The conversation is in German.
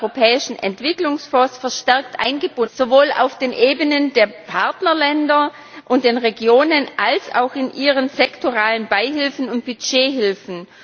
11. Europäischen Entwicklungsfonds verstärkt eingebunden werden, sowohl auf den Ebenen der Partnerländer und der Regionen als auch in ihren sektoralen Beihilfen und Budgethilfen.